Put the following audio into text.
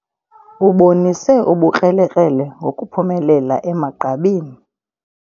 Ubonise ubukrelekrele ngokuphumelela emagqabini.